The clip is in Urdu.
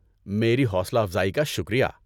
میری حوصلہ افزائی کا شکریہ۔